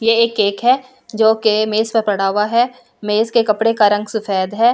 ये एक केक है जो के मेज़ पर पड़ा हुआ है मेज़ के कपड़े का रंग सफेेद है ।